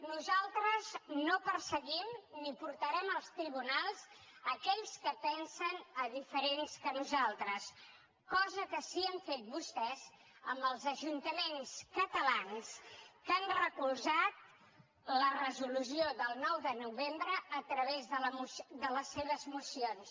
nosaltres no perseguim ni portarem als tribunals aquells que pensen diferentment que nosaltres cosa que sí que han fet vostès amb els ajuntaments catalans que han recolzat la resolució del nou de novembre a través de les seves mocions